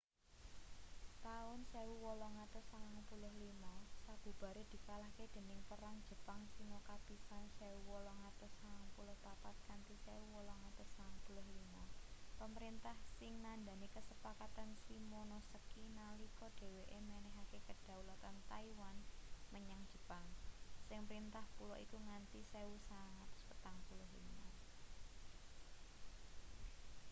taun 1895 sabubare dikalahke dening perang jepang-sino kapisan 1894-1895 pemerintah qing nandhani kasepakatan shimonoseki nalika dheweke menehake kedaulatan taiwan menyang jepang sing mrintah pulo iku nganti 1945